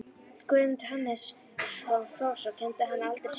Guðmundur Hannesson, prófessor, kenndi hana aldrei sjálfur.